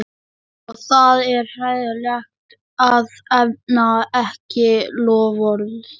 Og það er hræðilegt að efna ekki loforð.